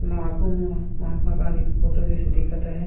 माखुन म महात्मा गाँधी के फोटो जइसे दिखत हे।